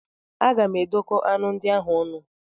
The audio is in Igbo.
Aga m edokọ aṅụ ndị ahụ ọnụ.